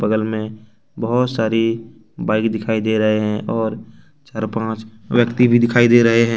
बगल में बहुत सारी बाइक दिखाई दे रहे हैं और चार पांच व्यक्ति भी दिखाई दे रहे हैं।